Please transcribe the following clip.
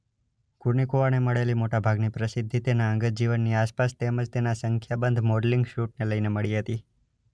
કુર્નિકોવાને મળેલી મોટા ભાગની પ્રસિદ્ધિ તેના અંગત જીવનની આસપાસ તેમ જ તેના સંખ્યાબંધ મોડલિંગ શૂટને લઈને મળી હતી.